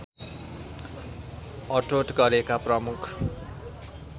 अठोट गरेका प्रमुख